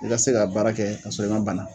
I ka se k'a baara kɛ k'a sɔrɔ i ma banna.